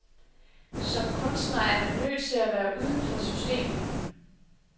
Som kunstner er man nødt til at være uden for systemerne.